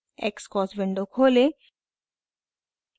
xcos window खोलें